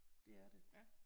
Det er det